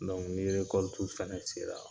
ni fɛnɛ sera